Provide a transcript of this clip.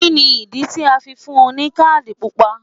Kí ni ìdí tí a fi fún un ní káàdì Pupa?